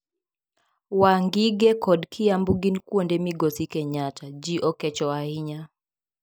Wangige kod Kiambu gin kuonde migosi Kenyatta, ji okecho ahinya.